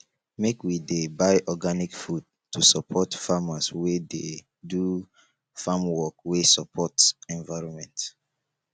make we dey buy organic food to support farmers wey dey do farmwork wey support environment